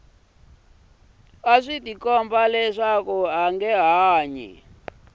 a swi tikomba leswaku a